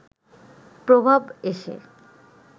প্রভাব এসে